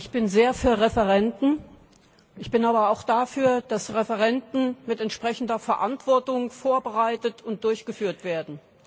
Ich bin sehr für Referenden. Ich bin aber auch dafür, dass Referenden mit entsprechender Verantwortung vorbereitet und durchgeführt werden.